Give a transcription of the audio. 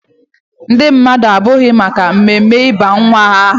Ndị mmadụ abịaghị maka mmemme ịba nwa ha aha.